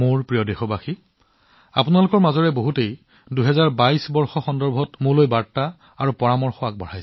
মোৰ মৰমৰ দেশবাসীসকল ২০২২ চনৰ সৈতে জড়িত আপোনালোক সকলোৰে পৰা বহুতো বাৰ্তা আৰু পৰামৰ্শ আহিছে